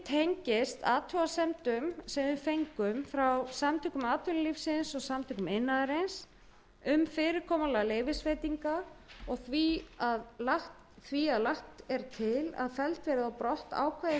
athugasemdum sem við fengum frá samtökum atvinnulífsins og samtökum iðnaðarins um fyrirkomulag leyfisveitinga og því að lagt er til að felld verði brott ákvæði